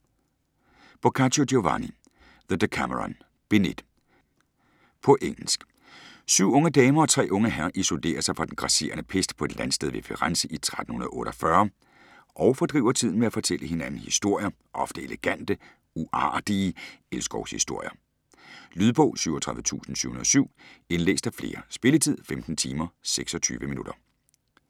Boccaccio, Giovanni: The Decameron : Bind 1 På engelsk. Syv unge damer og tre unge herrer isolerer sig fra den grasserende pest på et landsted ved Firenze i 1348 og fordriver tiden med at fortælle hinanden historier, ofte elegante, "uartige" elskovshistorier. Lydbog 37707 Indlæst af flere Spilletid: 15 timer, 26 minutter.